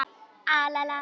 Ég heiti Thomas Lang.